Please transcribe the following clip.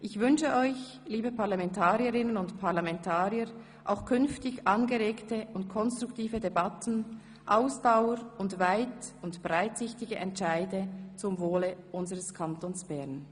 Ich wünsche euch, liebe Parlamentarierinnen und Parlamentarier, auch künftig angeregte und konstruktive Debatten, Ausdauer und weit- und breitsichtige Entscheide zum Wohle unseres Kantons Bern.